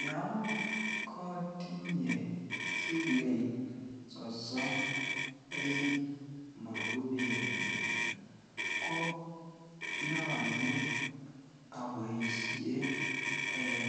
Yoon kotinye siling sosom en mokubenyun ko nyolu oboishen en